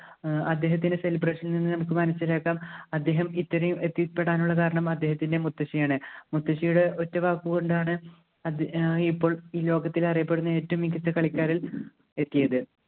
ഏർ അദ്ദേഹത്തിൻ്റെ celebration ൽ നിന്ന് നമുക്ക് മനസ്സിലാക്കാം അദ്ദേഹം ഇത്രയും എത്തിപ്പെടാനുള്ള കാരണം അദ്ദേഹത്തിൻ്റെ മുത്തശ്ശിയാണ് മുത്തശ്ശിയുടെ ഒറ്റവാക്ക് കൊണ്ടാണ് അദ്ദേ ആഹ് ഇപ്പോൾ ഈ ലോകത്തിലറിയപ്പെടുന്ന ഏറ്റവും മികച്ച കളിക്കാരിൽ എത്തിയത്